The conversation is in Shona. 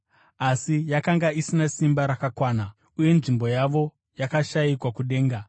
Asi yakanga isina simba rakakwana, uye nzvimbo yavo yakashayikwa kudenga.